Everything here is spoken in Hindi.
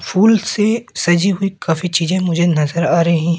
फूल से सजी हुई काफी चीजे मुझे नजर आ रहे--